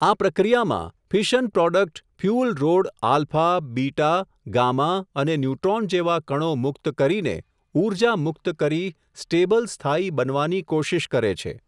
આ પ્રક્રિયામાં, fission product fuel rod alpha, beta, gamma અને ન્યુટ્રોન જેવાં કણો મુક્ત કરીને, ઉર્જા મુકત કરી, સ્ટેબલ સ્થાયી બનવાની કોશીશ કરે છે.